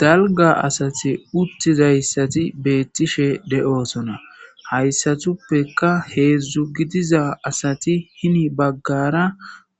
Dalga asati uttizayssati beettishe de'osona hayssatuppeka heedzdzu gidiza asati hini baggara